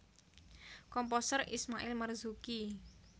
Komposer Ismail Marzuki